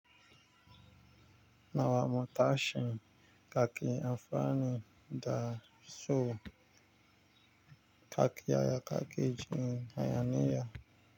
Nawa mu ta shin kake amfani da so kaki aya kaki jini aya miya.